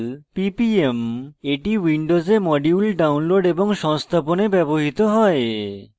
ppm এটি windows modules download এবং সংস্থাপনে ব্যবহৃত হয়